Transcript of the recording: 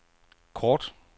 kort